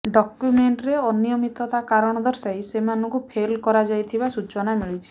ଡକ୍ୟୁମେଣ୍ଟରେ ଅନିୟମିତତା କାରଣ ଦର୍ଶାଇ ସେମାନଙ୍କୁ ଫେଲ କରାଯାଇଥିବା ସୂଚନା ମିଳିଛି